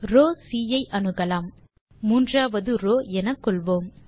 row C ஐ அணுகலாம் மூன்றாவது ரோவ் எனக்கொள்வோம்